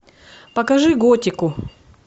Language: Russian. покажи готику